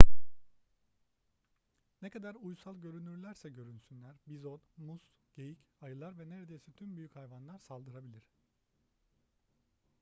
ne kadar uysal görünürlerse görünsünler bizon mus geyik ayılar ve neredeyse tüm büyük hayvanlar saldırabilir